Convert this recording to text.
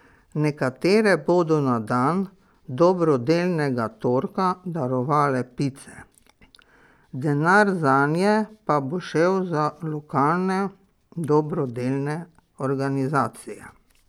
Nekatere bodo na dan dobrodelnega torka darovale pice, denar zanje pa bo šel za lokalne dobrodelne organizacije.